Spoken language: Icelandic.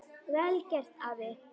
Vel gert, afi.